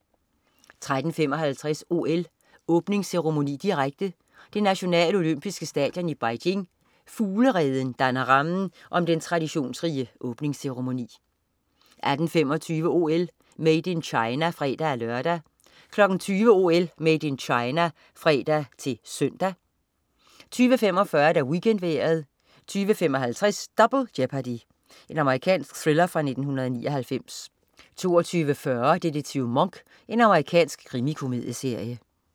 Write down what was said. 13.55 OL: Åbningsceremoni, direkte. Det nationale olympiske stadion i Beijing, "Fuglereden", danner rammen om den traditionsrige åbningsceremoni 18.25 OL: Made in China (fre-lør) 20.00 OL: Made in China (fre-søn) 20.45 WeekendVejret 20.55 Double Jeopardy. Amerikansk thriller fra 1999 22.40 Detektiv Monk. Amerikansk krimikomedieserie